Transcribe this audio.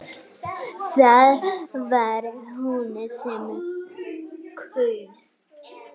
Það var hún sem kaus!